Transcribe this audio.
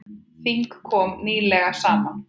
Þing kom nýlega saman.